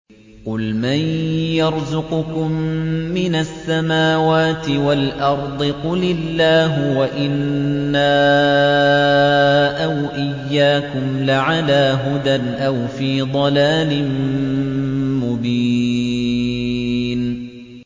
۞ قُلْ مَن يَرْزُقُكُم مِّنَ السَّمَاوَاتِ وَالْأَرْضِ ۖ قُلِ اللَّهُ ۖ وَإِنَّا أَوْ إِيَّاكُمْ لَعَلَىٰ هُدًى أَوْ فِي ضَلَالٍ مُّبِينٍ